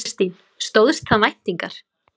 Kristín: Stóðst það væntingar?